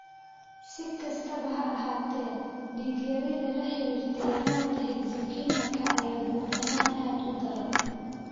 Si kastaba ha ahaatee, dhiig-yarida la xiriirta yaraanta hexokinaka ayaa guud ahaan aad u daran.